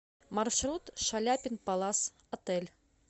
маршрут шаляпин палас отель